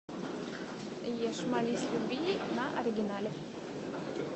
ешь молись люби на оригинале